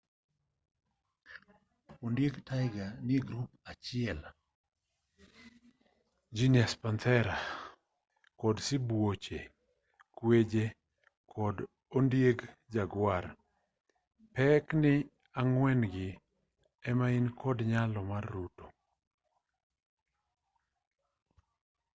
ondieg tiger nie grup achiel genus panthera kod sibuoche kweje kod ondieg jaguar. pekni ang'wen gi ema ni kod nyalo mar ruto